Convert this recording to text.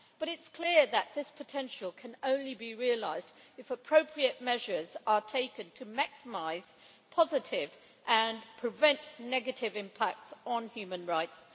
But it is clear that this potential can only be realised if appropriate measures are taken to maximise positive, and prevent negative, impacts on human rights.